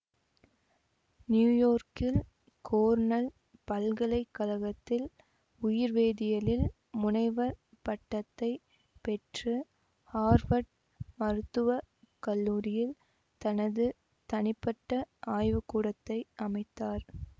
நியூயோர்க்கில் Cornell பல்கலை கழகத்தில் உயிர்வேதியியலில் முனைவர் பட்டத்தை பெற்று ஹார்வர்ட் மருத்துவ கல்லூரியில் தனது தனிப்பட்ட ஆய்வுகூடத்தை அமைத்தார்